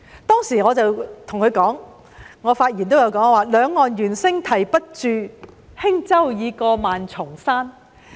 當時我在發言中向時任財政司司長曾俊華表示，"兩岸猿聲啼不住，輕舟已過萬重山"。